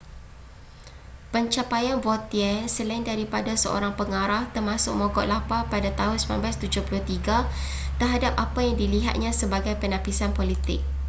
pencapaian vautier selain daripada seorang pengarah termasuk mogok lapar pada tahun 1973 terhadap apa yang dilihatnya sebagai penapisan politik